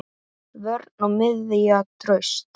Vörn og miðja traust.